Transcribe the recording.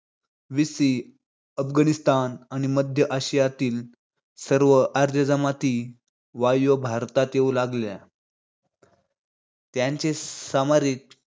BC Afghanistan आणि मध्य आशियातील आर्य जमाती वायव्य भारतात येऊ लागल्या. त्यांचे समाजिक